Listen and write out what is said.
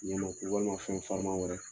Tiɲɛlo walima fɛn farima wɛrɛ